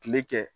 Kile kɛ